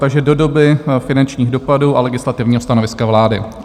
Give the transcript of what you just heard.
Takže do doby finančních dopadů a legislativního stanoviska vlády.